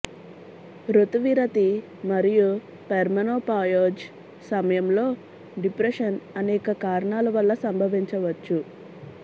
రుతువిరతి మరియు పెర్మెనోపాయోజ్ సమయంలో డిప్రెషన్ అనేక కారణాల వల్ల సంభవించవచ్చు